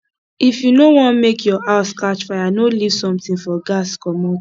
if you no want make your house catch fire no leave something for gas commot